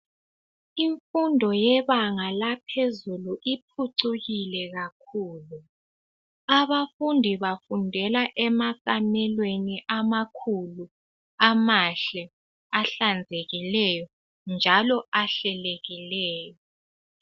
Imfundo yebanga laphezulu iphucukile kakhulu abafundi bafundela emakamelweni amakhulu amahle ahlanzekileyo njalo ahlelekileyo